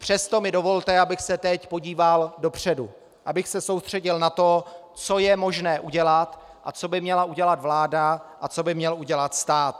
Přesto mi dovolte, abych se teď podíval dopředu, abych se soustředil na to, co je možné udělat a co by měla udělat vláda a co by měl udělat stát.